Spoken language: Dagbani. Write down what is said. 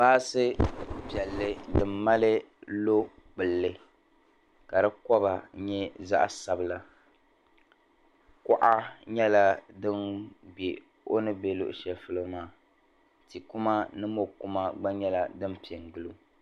Baasi piɛlli din mali lɔ'gbulli ka di koba nyɛ zaɣ'sabila kuɣa nyɛla din be o ni bɛ lɔɣ'shɛli polo maa ti'kuma ni mɔ'kuma gba nyɛla din pe gili o.